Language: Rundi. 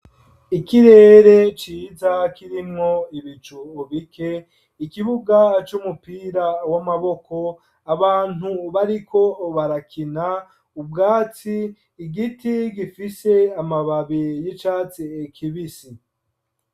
Ikirere ciza kirimwo ibicu bike, ikibuga c'umupira w'amaboko, abantu bariko barakina, ubwatsi, igiti gifise amababi y'icatsi kibisi.